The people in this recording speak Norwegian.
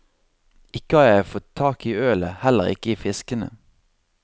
Ikke har jeg fatt tak i ølet, heller ikke i fiskene.